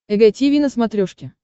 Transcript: эг тиви на смотрешке